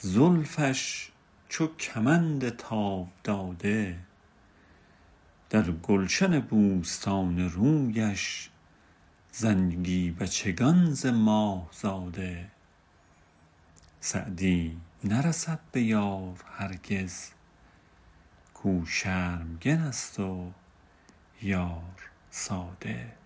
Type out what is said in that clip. زلفش چو کمند تاب داده در گلشن بوستان رویش زنگی بچگان ز ماه زاده سعدی نرسد به یار هرگز کاو شرمگن است و یار ساده